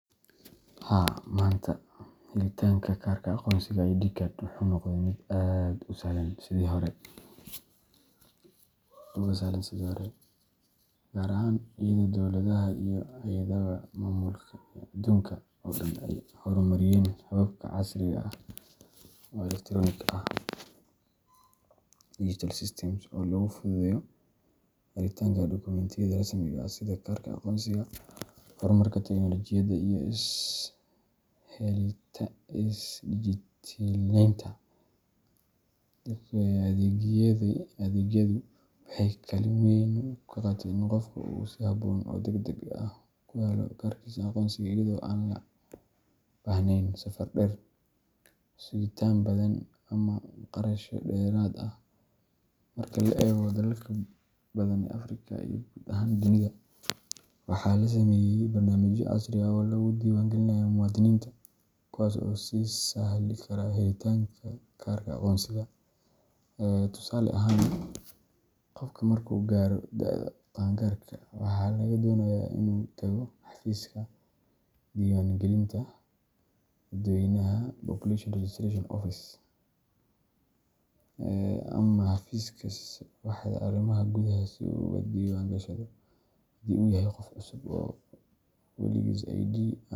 Haa, maanta helitaanka kaarka aqoonsiga ID card wuxuu noqday mid aad uga sahlan sidii hore, gaar ahaan iyadoo dowladaha iyo hay’adaha maamulka ee adduunka oo dhan ay horumariyeen habab casri ah oo elektaroonik ah digital systems oo lagu fududeeyo helitaanka dokumentiyada rasmiga ah sida kaarka aqoonsiga. Horumarka tiknoolajiyadda iyo is-dijitaleynta adeegyadu waxay kaalin weyn ka qaateen in qofku si habboon oo degdeg ah ku helo kaarkiisa aqoonsiga iyada oo aan loo baahnayn safar dheer, sugitaan badan, ama kharashyo dheeraad ah. Marka la eego dalalka badan ee Afrika iyo guud ahaan dunida, waxaa la sameeyay barnaamijyo casri ah oo lagu diiwaangelinayo muwaadiniinta, kuwaas oo u sahli kara helitaanka kaarka aqoonsiga. Tusaale ahaan, qofka markuu gaaro da’da qaan-gaarka, waxaa laga doonayaa inuu tago xafiiska diiwaangelinta dadweynaha Population Registration Office ama xafiiska waaxda arrimaha gudaha si uu uga diiwaangashado. Haddii uu yahay qof cusub oo weligiis IDga.